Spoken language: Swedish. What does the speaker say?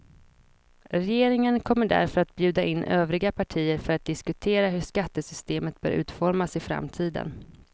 Regeringen kommer därför att bjuda in övriga partier för att diskutera hur skattesystemet bör utformas i framtiden.